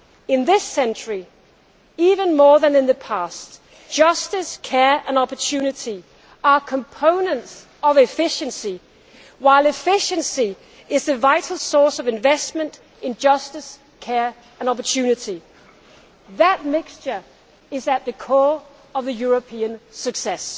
In this century, even more than in the past, justice, care and opportunity are components of efficiency, while efficiency is the vital source of investment in justice, care and opportunity. That mixture is at the core of the European success.